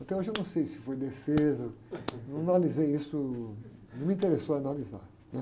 Até hoje eu não sei se foi defesa, não analisei isso, não me interessou analisar. Né?